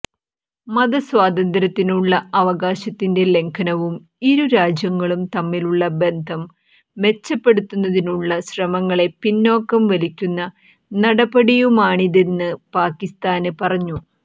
മതസ്വാതന്ത്ര്യത്തിനുള്ള അവകാശത്തിന്റെ ലംഘനവും ഇരുരാജ്യങ്ങളും തമ്മിലുള്ള ബന്ധം മെച്ചപ്പെടുത്തുന്നതിനുള്ള ശ്രമങ്ങളെ പിന്നാക്കം വലിക്കുന്ന നടപടിയുമാണിതെന്ന് പാകിസ്താന് പറഞ്ഞു